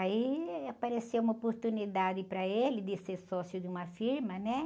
Aí apareceu uma oportunidade para ele de ser sócio de uma firma, né?